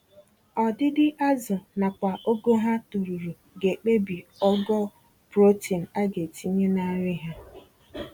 Ọdịdị azụ nakwa ogo ha toruru, ga ekpebi ogo protein agetinye na nri ha